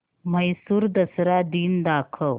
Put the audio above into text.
म्हैसूर दसरा दिन दाखव